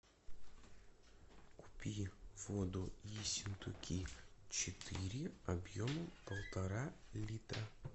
купи воду ессентуки четыре объемом полтора литра